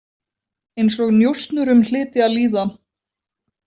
Eins og njósnurum hlyti að líða.